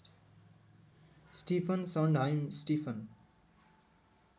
Stephen Sondheim Stephen